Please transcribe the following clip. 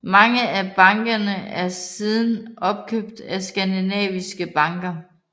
Mange af bankerne er siden opkøbt af skandinaviske banker